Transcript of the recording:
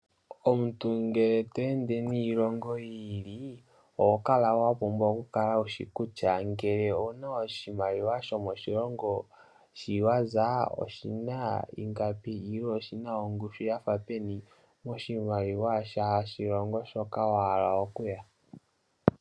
Omuntu ngele tweende niilongo yiili, owa pumbwa okukala wushi kutya ngele owu na iimaliwa yomoshilongo shi wa za kutya oshina ongushu yithike peni kweelekanitha nongushu yiimaliwa yoshilongo shoka toyi.